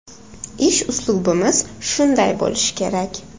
Ish uslubimiz shunday bo‘lishi kerak.